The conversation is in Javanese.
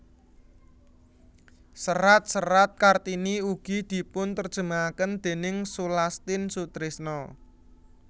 Serat serat Kartini ugi dipunterjemahaken déning Sulastin Sutrisno